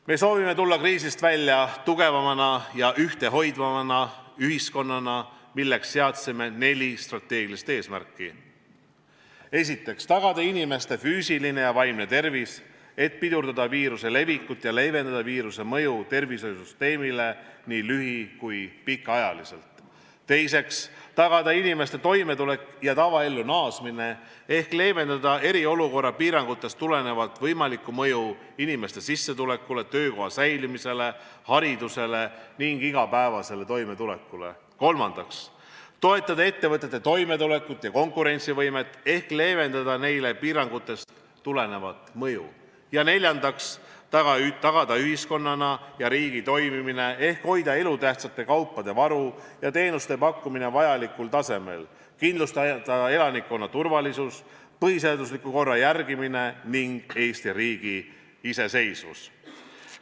Me soovime tulla kriisist välja tugevama ja ühtehoidvama ühiskonnana, milleks seadsime neli strateegilist eesmärki: esiteks, tagada inimeste füüsiline ja vaimne tervis ehk pidurdada viiruse levikut ja leevendada viiruse mõju tervishoiusüsteemile nii lühi- kui ka pikaajaliselt; teiseks, tagada inimeste toimetulek ja tavaellu naasmine ehk leevendada eriolukorra piirangutest tulenevat võimalikku mõju inimeste sissetulekutele, töökoha säilimisele, haridusele ning igapäevasele toimetulekule; kolmandaks, toetada ettevõtete toimetulekut ja konkurentsivõimet ehk leevendada neile piirangutest tulenevat mõju; neljandaks, tagada ühiskonna ja riigi toimimine ehk hoida elutähtsate kaupade varu ja teenuste pakkumine vajalikul tasemel, kindlustada elanikkonna turvalisus, põhiseadusliku korra järgimine ning Eesti riigi iseseisvus.